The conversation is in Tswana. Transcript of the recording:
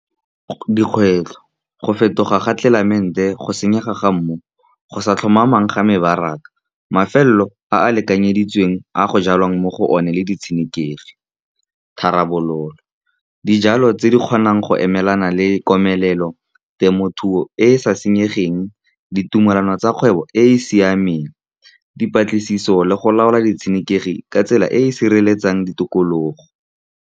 Dikgwetlho go fetoga ga tlelaemete, go senyega ga mmu, go sa tlhomamang ga mebaraka, mafelo a a lekanyeditsweng a go jalwang mo go one le di tshenekegi, tharabololo ke dijalo tse di kgonang go emelana le komelelo. Temothuo e e sa senyegeng, ditumalano tsa kgwebo e e siamang, dipatlisiso le go laola di tshenekegi ka tsela e e sireletsang ditokologo.